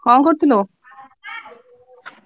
କଣ କରୁଥିଲୁ?